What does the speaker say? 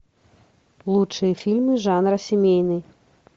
лучшие фильмы жанра семейный